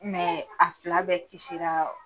a fila bɛɛ kisira